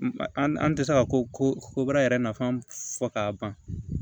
An tɛ se ka ko ko kobaara yɛrɛ nafan fɔ k'a ban